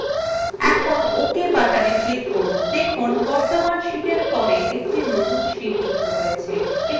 এখন ok buttona click করুন দেখুন বর্তমান sheetwe পর একটি নতুন sheet যুক্ত হয়েছে